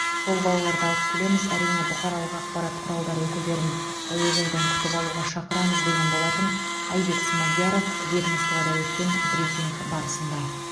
сол балаларды алып келеміз әрине бұқаралық ақпарат құралдары өкілдерін әуежайдан күтіп алуға шақырамыз деген болатын айбек смадияров ведомствода өткен брифинг барысында